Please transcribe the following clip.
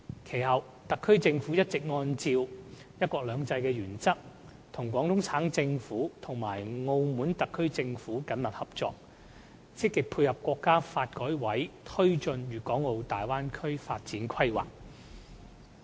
其後，特區政府一直按照"一國兩制"的原則，與廣東省政府和澳門特區政府緊密合作，積極配合國家發改委推進《粵港澳大灣區城市群發展規劃》。